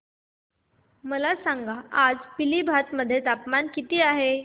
मला सांगा आज पिलीभीत मध्ये तापमान किती आहे